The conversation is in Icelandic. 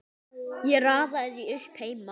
Ég raðaði því upp heima.